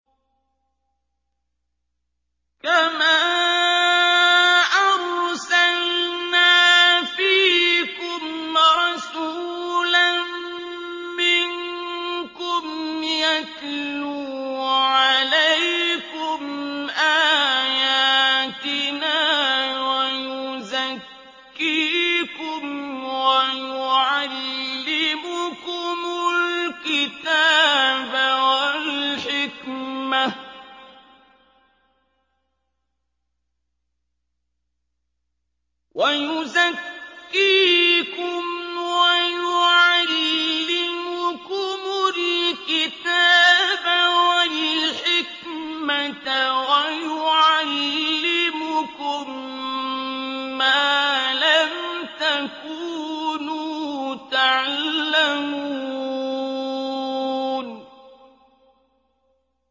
كَمَا أَرْسَلْنَا فِيكُمْ رَسُولًا مِّنكُمْ يَتْلُو عَلَيْكُمْ آيَاتِنَا وَيُزَكِّيكُمْ وَيُعَلِّمُكُمُ الْكِتَابَ وَالْحِكْمَةَ وَيُعَلِّمُكُم مَّا لَمْ تَكُونُوا تَعْلَمُونَ